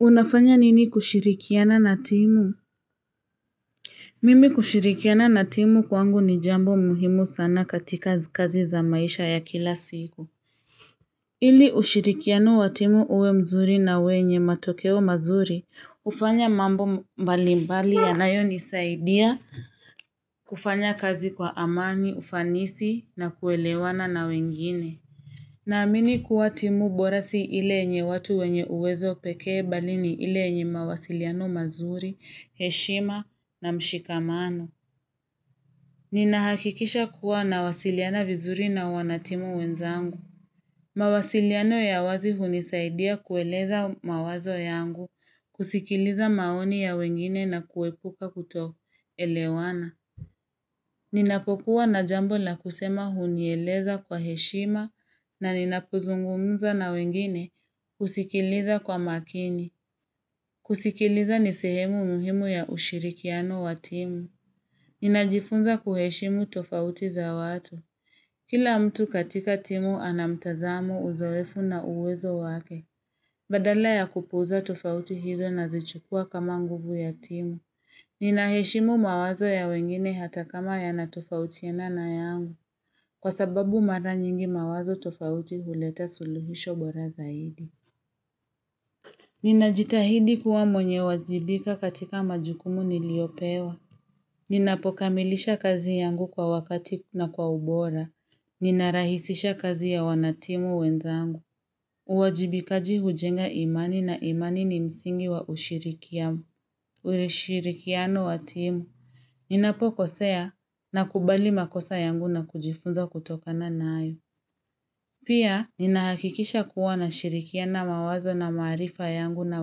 Unafanya nini kushirikiana na timu? Mimi kushirikiana na timu kwangu ni jambo muhimu sana katika kazi za maisha ya kila siku. Ili ushirikiano wa timu uwe mzuri na uwe nye matokeo mazuri, ufanya mambo mbali mbali ya nayo nisaidia kufanya kazi kwa amani, ufanisi na kuelewana na wengine. Naamini kuwa timu bora si ilenye watu wenye uwezo pekee balini ilenye mawasiliano mazuri, heshima na mshikamano. Ninahakikisha kuwa na wasiliana vizuri na wanatimu wenzangu. Mawasiliano ya wazi hunisaidia kueleza mawazo yangu, kusikiliza maoni ya wengine na kuepuka kuto elewana. Ninapokuwa na jambo na kusema unyeleza kwa heshima na ninapuzungumza na wengine kusikiliza kwa makini. Kusikiliza nisehemu muhimu ya ushirikiano wa timu. Ninajifunza kuheshimu tofauti za watu. Kila mtu katika timu ana mtazamo uzoefu na uwezo wake. Badala ya kupuza tofauti hizo na zichukua kama nguvu ya timu. Ninaheshimu mawazo ya wengine hata kama ya natufautiena na yangu. Kwa sababu mara nyingi mawazo tofauti huleta suluhisho bora zaidi. Ninajitahidi kuwa mwenye wajibika katika majukumu niliopewa. Ninapokamilisha kazi yangu kwa wakati na kwa ubora. Ninarahisisha kazi ya wanatimu wenzangu. Uwajibikaji hujenga imani na imani ni msingi wa ushirikiamu. Ureshirikiano wa timu. Ninapo kosea na kubali makosa yangu na kujifunza kutoka na nayo. Pia, ninahakikisha kuwa na shirikiana mawazo na maarifa yangu na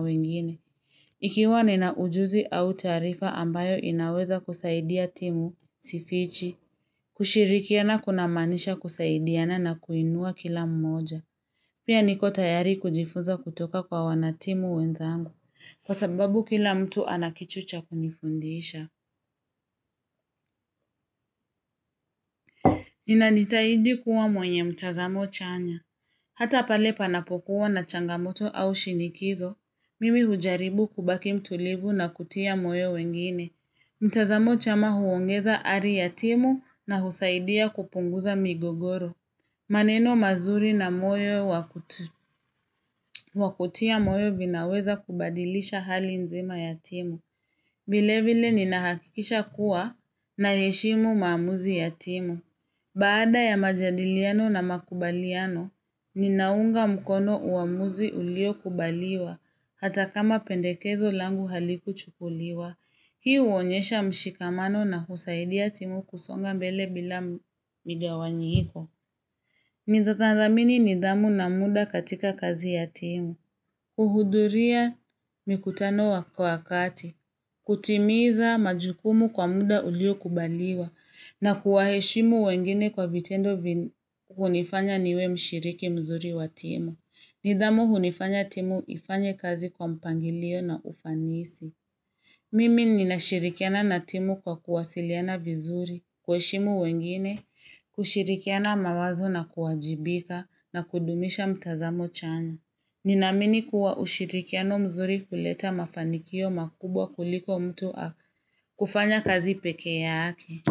wengine. Ikiwa ninaujuzi au taarifa ambayo inaweza kusaidia timu, sifichi, kushirikiana kuna manisha kusaidiana na kuinua kila mmoja. Pia niko tayari kujifunza kutoka kwa wanatimu wenzangu, kwa sababu kila mtu anakichucha kunifundisha. Nina nitaidi kuwa mwenye mtazamo chanya. Hata pale panapokuwa na changamoto au shinikizo, mimi hujaribu kubaki mtulivu na kutia moyo wengine. Mtazamo chama huongeza ari ya timu na husaidia kupunguza migogoro. Maneno mazuri na moyo wakutia moyo vinaweza kubadilisha hali nzima yatimu. Vile vile ninahakikisha kuwa na heshimu maamuzi yatimu. Baada ya majadiliano na makubaliano, ninaunga mkono uamuzi ulio kubaliwa hata kama pendekezo langu haliku chukuliwa. Hiu uonyesha mshikamano na husaidia timu kusonga mbele bila migawanyiiko. Mindatanzamini nidamu na muda katika kazi ya timu. Uhuduria mikutano kwa wakati. Kutimiza majukumu kwa muda ulio kubaliwa na kuwaheshimu wengine kwa vitendo hunifanya niwe mshiriki mzuri wa timu nidhamu hunifanya timu ifanye kazi kwa mpangilio na ufanisi Mimi ninashirikiana na timu kwa kuwasiliana vizuri kuheshimu wengine kushirikiana mawazo na kuwajibika na kudumisha mtazamo chanyo Ninamini kuwa ushirikiano mzuri kuleta mafanikio makubwa kuliko mtu kufanya kazi peke ya ake.